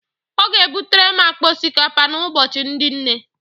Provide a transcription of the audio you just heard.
Ọ ga-ebutere m akpa osikapa n'Ụbọchị ndị Nne